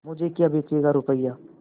मुझे क्या बेचेगा रुपय्या